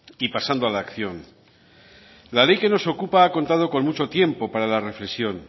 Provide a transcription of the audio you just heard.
y pasando a la acción la ley que nos ocupa ha contado con mucho tiempo para la reflexión